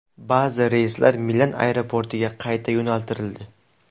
Ba’zi reyslar Milan aeroportiga qayta yo‘naltirildi.